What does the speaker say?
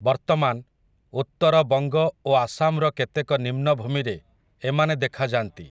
ବର୍ତ୍ତମାନ୍, ଉତ୍ତର ବଙ୍ଗ ଓ ଆସାମ୍‌ର କେତେକ ନିମ୍ନ ଭୂମିରେ, ଏମାନେ ଦେଖାଯା'ନ୍ତି ।